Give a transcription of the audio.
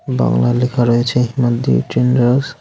বাংলা লেখা রয়েছে হিমাদ্রি ট্রেডার্স .